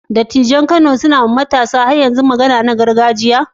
Dattijai a Kano har yanzu suna yi wa matasa karin magana na gargajiya?